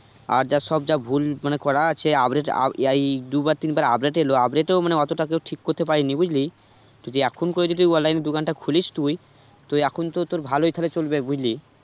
আর যা সব ভুল মানে করা আছে update এই দুবার তিনবার update এলো update এও মানে অতটা কেউ ঠিক করতে পারেনি বুঝলি, যদি এখন করে যদি online র দোকানটা খুলিস তুই তো এখন তো তোর ভালোই তাহলে চলবে বুঝলি